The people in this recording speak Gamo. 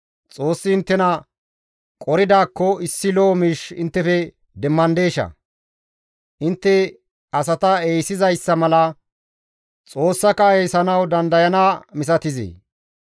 Xoossi inttena qoridaakko issi lo7o miish inttefe demmandeshaa? Intte asata eeysizayssa mala Xoossaka eeyssanawu dandayana inttes misatizee?